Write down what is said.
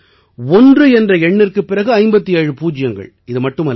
அதாவது ஒன்று என்ற எண்ணிற்குப் பிறகு 57 பூஜ்யங்கள்